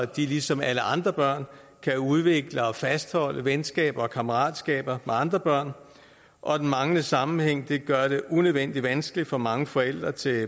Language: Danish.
de lige som alle andre børn kan udvikle og fastholde venskaber og kammeratskaber med andre børn og den manglende sammenhæng gør det unødvendig vanskeligt for mange forældre til